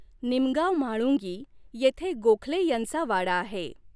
निमगाव म्हाळुंगी येथे गोखले यांचा वाडा आहे.